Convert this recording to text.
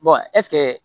ɛsike